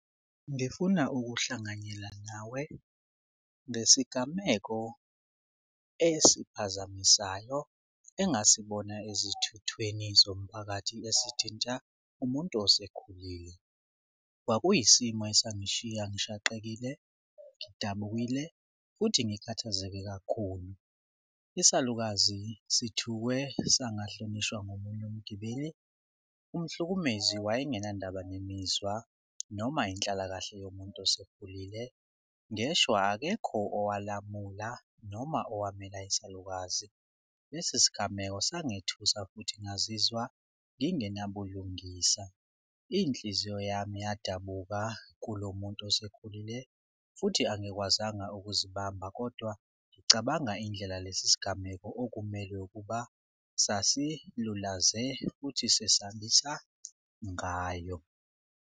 Ngifuna ukuhlanganyela nawe ngesigameko esiphazamisayo engasibona ezithuthweni zomphakathi esithinta umuntu osekhulile. Kwakuyisimo esangishiya ngishaqekile, ngidabukile, futhi ngikhathazeke kakhulu. Isalukazi sithukwe sangahlonishwa ngomunye umgibeli, umhlukumeziwa wayengenandaba nemizwa noma inhlalakahle yomuntu osekhulile. Ngeshwa akekho owalamula noma owamela isalukazi. Lesi sigameko sangithusa futhi ngazizwa ngingenabulungisa. Inhliziyo yami yadabuka kulo muntu osekhulile futhi angikwazanga ukuzibamba kodwa ngicabanga indlela lesi sigameko okumele ukuba sasilulaze futhi sesambisa ngayo.